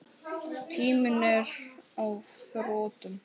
Tíminn er á þrotum.